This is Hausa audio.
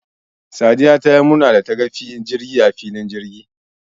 Sadiya tayi murna dataga jirgi a filin jirgi